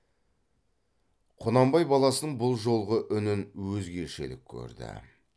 құнанбай баласының бұл жолғы үнін өзгешелік көрді